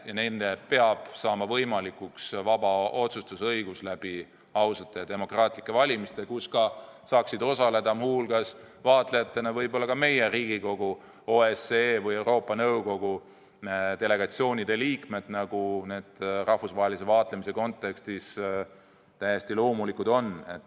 Ja neile peab saama võimalikuks vaba otsustusõigus läbi ausate ja demokraatlike valimiste, kus saaksid vaatlejatena muu hulgas osaleda võib-olla ka meie Riigikogu, OSCE või Euroopa Nõukogu delegatsioonide liikmed, nagu see rahvusvahelise vaatlemise kontekstis täiesti loomulik on.